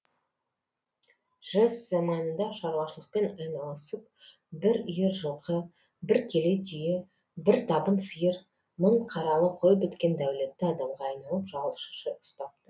жэс заманында шаруашылықпен айналысып бір үйір жылқы бір келе түйе бір табын сиыр мың қаралы қой біткен дәулетті адамға айналып жалшы ұстапты